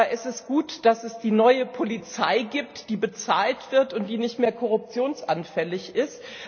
Es ist gut, dass es die neue Polizei gibt, die bezahlt wird und die nicht mehr korruptionsanfällig ist.